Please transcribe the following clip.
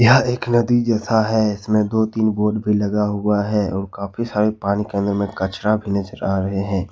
यह एक नदी जैसा है इसमें दो तीन बोट भी लगा हुआ है और काफी सारे पानी के अंदर में कचरा भी नजर आ रहे हैं।